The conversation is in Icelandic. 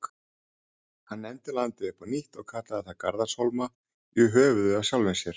Hann nefndi landið upp á nýtt og kallaði það Garðarshólma, í höfuðið á sjálfum sér.